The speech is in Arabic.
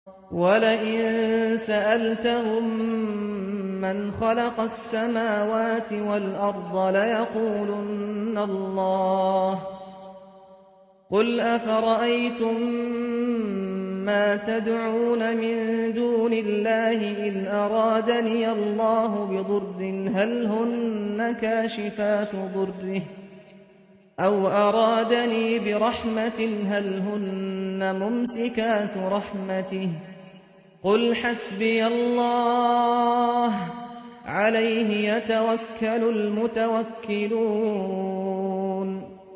وَلَئِن سَأَلْتَهُم مَّنْ خَلَقَ السَّمَاوَاتِ وَالْأَرْضَ لَيَقُولُنَّ اللَّهُ ۚ قُلْ أَفَرَأَيْتُم مَّا تَدْعُونَ مِن دُونِ اللَّهِ إِنْ أَرَادَنِيَ اللَّهُ بِضُرٍّ هَلْ هُنَّ كَاشِفَاتُ ضُرِّهِ أَوْ أَرَادَنِي بِرَحْمَةٍ هَلْ هُنَّ مُمْسِكَاتُ رَحْمَتِهِ ۚ قُلْ حَسْبِيَ اللَّهُ ۖ عَلَيْهِ يَتَوَكَّلُ الْمُتَوَكِّلُونَ